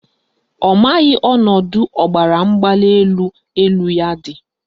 Ọ maghị ọnọdụ ọbaramgbalịelu elu ya dị